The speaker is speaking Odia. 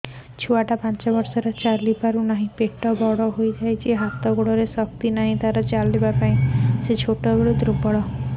ଛୁଆଟା ପାଞ୍ଚ ବର୍ଷର ଚାଲି ପାରୁ ନାହି ପେଟ ବଡ଼ ହୋଇ ଯାଇଛି ହାତ ଗୋଡ଼ରେ ଶକ୍ତି ନାହିଁ